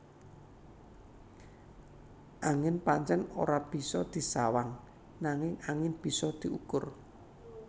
Angin pancèn ora bisa disawang nanging angin bisa diukur